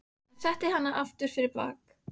Hann setti hana aftur fyrir bak.